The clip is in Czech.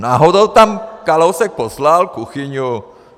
Náhodou tam Kalousek poslal Kuchyňu.